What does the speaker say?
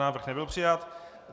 Návrh nebyl přijat.